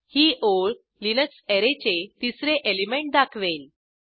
ही ओळ लिनक्स अॅरेचे तिसरे एलिमेंट दाखवेल